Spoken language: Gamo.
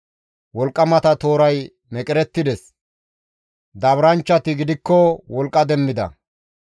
«Wolqqamata tooray meqerettides; daaburanchchati gidikko wolqqa demmida.